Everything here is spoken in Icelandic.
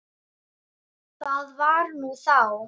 Það var nú þá.